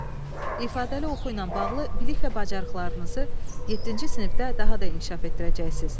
İfadəli oxu ilə bağlı bilik və bacarıqlarınızı yeddinci sinifdə daha da inkişaf etdirəcəksiz.